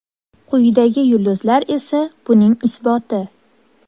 Quyidagi yulduzlar esa buning isboti.